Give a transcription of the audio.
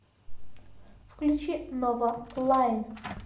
включи ново лайн